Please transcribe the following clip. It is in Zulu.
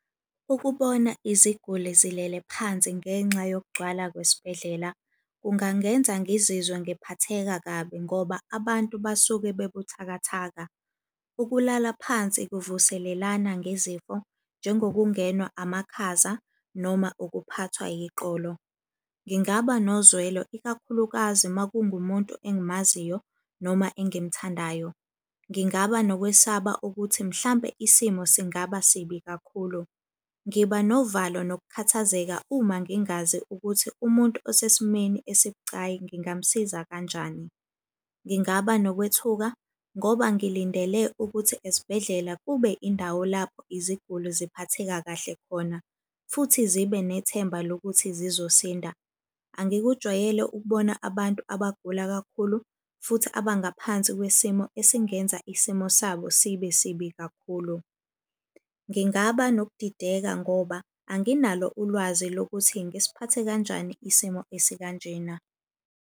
Ukubona iziguli zilele phansi ngenxa yokugcwala kwesibhedlela kungangenza ngizizwe ngiphatheka kabi ngoba abantu basuke bebuthakatha. Ukulala phansi kuvuselelana ngezifo njengokungenwa amakhaza, noma ukuphathwa yiqolo. Ngingaba nozwelo, ikakhulukazi uma kungumuntu engimaziyo noma engimthandayo. Ngingaba nokwesaba ukuthi mhlampe isimo singaba sibi kakhulu. Ngiba novalo nokukhathazeka uma ngingazi ukuthi umuntu osesimeni esibucayi ngingamusiza kanjani. Ngingaba nokwethuka ngoba ngilindele ukuthi esibhedlela kube indawo lapho iziguli ziphatheka kahle khona, futhi zibe nethemba lokuthi zizosinda. Angikujwayele ukubona abantu abagula kakhulu futhi abangaphansi kwesimo esingenza isimo sabo sibe sibi kakhulu. Ngingaba nokudideka ngoba anginalo ulwazi lokuthi ngisiphathe kanjani isimo esikanjena.